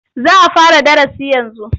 Za a fara darasi yanzu